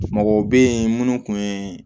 Mɔgɔw bɛ yen minnu tun ye